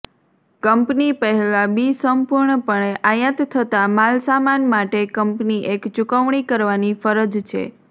company પહેલાં બી સંપૂર્ણપણે આયાત થતા માલસામાન માટે કંપની એક ચૂકવણી કરવાની ફરજ છે